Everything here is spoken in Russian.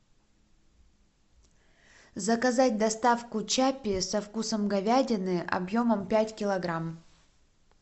заказать доставку чаппи со вкусом говядины объемом пять килограмм